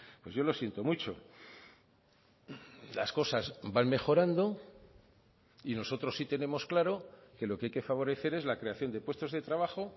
pues yo lo siento mucho las cosas van mejorando y nosotros sí tenemos claro que lo que hay que favorecer es la creación de puestos de trabajo